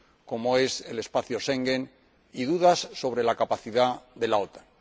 como es el espacio Schengen y dudas sobre la capacidad de la OTAN.